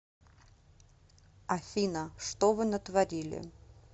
афина что вы натворили